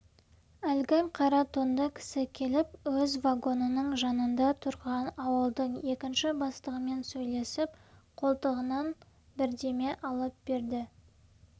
әлгі қара тонды кісі келіп өз вагонының жанында тұрған ауылдың екінші бастығымен сөйлесіп қолтығынан бірдеме алып берді